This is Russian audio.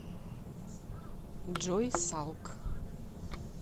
джой салк